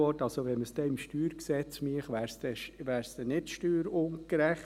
Wenn man es im StG machen würde, wäre es also nicht steuerungerecht.